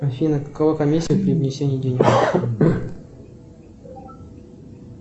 афина какова комиссия при внесении денег